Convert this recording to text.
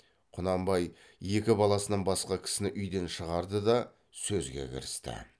құнанбай екі баласынан басқа кісіні үйден шығарды да сөзге кірісті